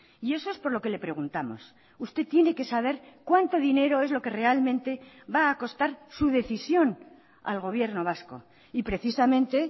y eso es por lo que le preguntamos usted tiene que saber cuánto dinero es lo que realmente va a costar su decisión al gobierno vasco y precisamente